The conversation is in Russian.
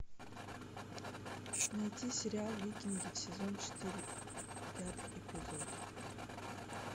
найти сериал викинги сезон четыре пятый эпизод